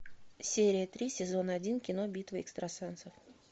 серия три сезон один кино битва экстрасенсов